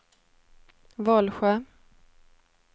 Vollsjö